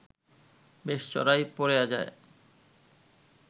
বেশ চড়াই পরে যায়